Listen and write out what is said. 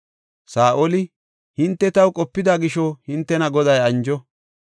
Saa7oli, “Hinte taw qopida gisho hintena Goday anjo.